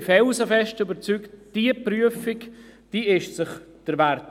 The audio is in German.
Ich bin felsenfest überzeugt, diese Prüfung ist es wert.